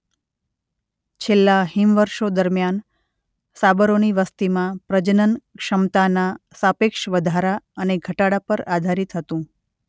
છેલ્લા હિમવર્ષો દરમિયાન સાબરોની વસતિમાં પ્રજનન ક્ષમતાના સાપેક્ષ વધારા અને ઘટાડા પર આધારિત હતું.